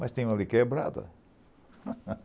Mas tem uma ali quebrada.